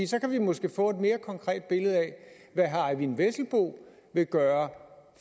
så kan vi måske få et mere konkret billede af hvad herre eyvind vesselbo vil gøre